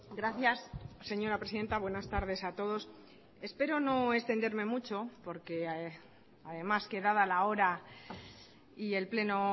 gracias señora presidenta buenas tardes a todos espero no extenderme mucho porque además que dada la hora y el pleno